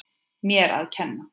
Mér að kenna